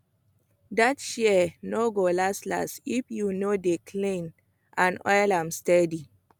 that shears no go last last if you no dey clean and oil am steady